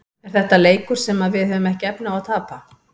Er þetta leikur sem að við höfum ekki efni á að tapa?